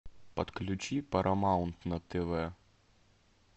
подключи парамаунт на тв